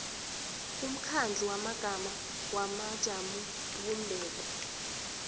umkhandlu wamagama wamajamobumbeko